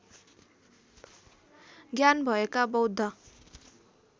ज्ञान भएका बौद्ध